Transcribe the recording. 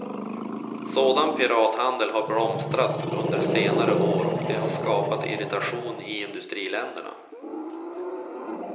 Sådan pirathandel har blomstrat under senare år och det har skapat irritation i industriländerna.